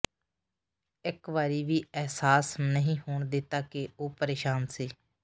ਇੱਕ ਵਾਰੀ ਵੀ ਅਹਿਸਾਸ ਨਹੀਂ ਹੋਣ ਦਿੱਤਾ ਕਿ ਉਹ ਪਰੇਸ਼ਾਨ ਸੀ